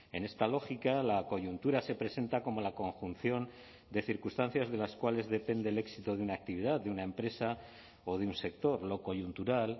en esta lógica la coyuntura se presenta como la conjunción de circunstancias de las cuales depende el éxito de una actividad de una empresa o de un sector lo coyuntural